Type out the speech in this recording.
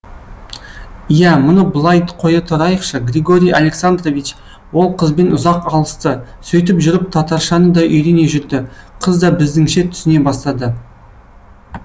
иә мұны былай қоя тұрайықшы григорий александрович ол қызбен ұзақ алысты сөйтіп жүріп татаршаны да үйрене жүрді қыз да біздіңше түсіне бастады